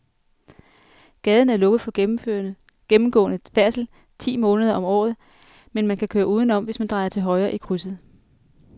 Gaden er lukket for gennemgående færdsel ti måneder om året, men man kan køre udenom, hvis man drejer til højre i krydset.